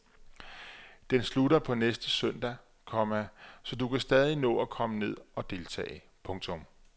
Den slutter på næste søndag, komma så du kan stadig nå at komme ned og deltage. punktum